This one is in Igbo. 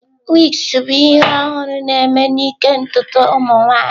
Wigs bụ ihe ọhụrụ na-eme n'ịke ntutu ụmụ nwanyị.